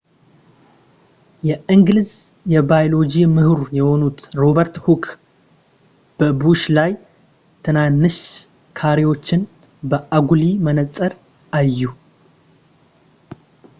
የእንግሊዝ የባዮሎጂ ምሁር የሆኑት ሮበርት ሁክ በቡሽ ላይ ትናንሽ ካሬዎችን በአጉሊ መነፅር አዩ